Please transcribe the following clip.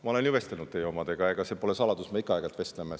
Ma olen ju vestelnud teie omadega, ega see pole saladus, me ikka aeg-ajalt vestleme.